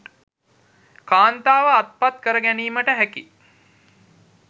කාන්තාව අත්පත් කරගැනීමට හැකි